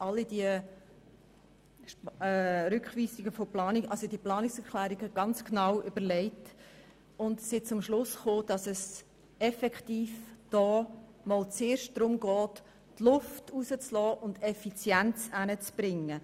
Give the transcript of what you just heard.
Wir haben uns alle Planungserklärungen genau angeschaut und sind zum Schluss gekommen, dass es zuerst einmal darum geht, Luft abzulassen und die Effizienz zu steigern.